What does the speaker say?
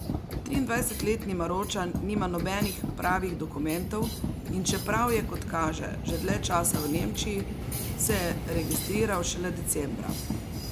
Triindvajsetletni Maročan nima nobenih pravih dokumentov, in čeprav je, kot kaže, že dlje časa v Nemčiji, se je registriral šele decembra.